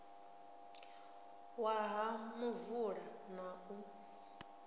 wa ha muvula na u